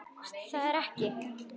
Veist að það ertu ekki.